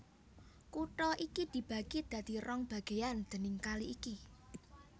Kutha iki dibagi dadi rong bagéyan déning kali iki